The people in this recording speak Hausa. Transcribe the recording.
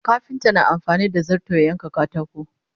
kafinta na amfani da zarto ya yanka katako